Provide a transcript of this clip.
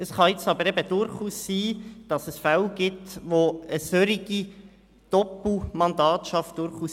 Es kann jedoch durchaus sein, dass es Fälle gibt, wo ein solches Doppelmandat sinnvoll ist.